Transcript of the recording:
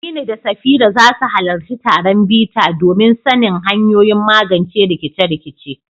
Aminu da Safira za su halarci taron bita domin sanin hanyoyin magance rikice-rikice.